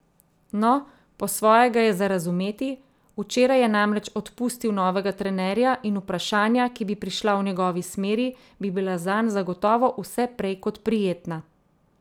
No, po svoje ga je za razumeti, včeraj je namreč odpustil novega trenerja in vprašanja, ki bi prišla v njegovi smeri, bi bila zanj zagotovo vse prej kot prijetna.